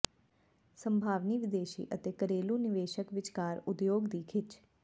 ਸੰਭਾਵੀ ਵਿਦੇਸ਼ੀ ਅਤੇ ਘਰੇਲੂ ਨਿਵੇਸ਼ਕ ਵਿਚਕਾਰ ਉਦਯੋਗ ਦੀ ਿਖੱਚ